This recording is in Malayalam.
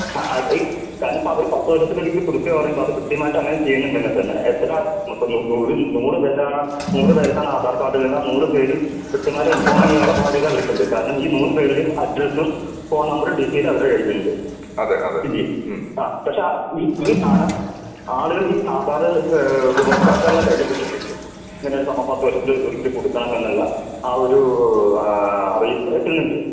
ആ ഈ കാരണം ഇപ്പോ അവര് പത്തുവർഷത്തിലൊരിക്കൽ പുതുക്കാന്ന് പറയുമ്പോ അത് കൃത്യമായിട്ട് അങ്ങനെ ചെയ്യുന്നുണ്ടെങ്കി തന്നെ എത്ര ഇപ്പോ നൂർ നൂർ പേരാണ് നൂർ പേർക്കാണ് ആധാർ കാർഡ് ഇല്ലെങ്കി ആ നൂർ പേര് കൃത്യമായിട്ട് ഇൻഫോം ചെയ്യാനുള്ള ബാധ്യത അവർക്ക് ഉണ്ട്. കാരണം ഈ നൂർ പേരുടെ അഡ്രസ്സും ഫോൺ നമ്പറും ഡീറ്റയിലും അവരുടെ കയ്യിൽ ഉണ്ട്. ഇല്ലേ? പക്ഷേ ഈ ഈ സാനം ആളുകൾ ഈ ആധാർ ഏഹ് ഉപഭോക്താക്കളുടെ കയ്യിൽ കിട്ടുന്നില്ല. ഇങ്ങനെ ഒരു സംഭവം പത്ത് വർഷത്തിലൊരിക്കൽ പുതുക്കണം എന്നുള്ള ആ ഒരു അറിയിപ്പ് എത്തുന്നില്ല.